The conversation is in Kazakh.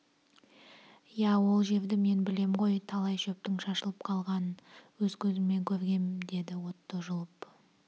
иә ол жерді мен білем ғой талай шөптің шашылып қалғанын өз көзіммен көргем деді отто жұлып